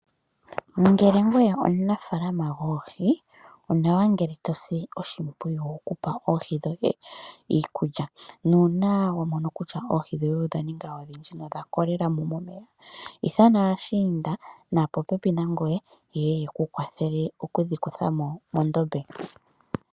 Ngele ngoye omunafaalama goohi onawa ngele tosi oshimpwiyu okupa oohi dhoye iikulya nuuna wamono kutyavoohi dhoye odha ninga odhindji nodha kolelamo momeya ithana aashiinda naapopepi nangoye yeye yekukwathele omudhi kuthamo medhiya.